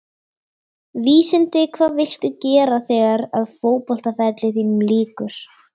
Vísindi Hvað viltu gera þegar að fótboltaferli þínum lýkur?